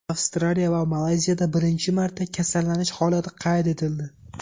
Avstraliya va Malayziyada birinchi marta kasallanish holati qayd etildi.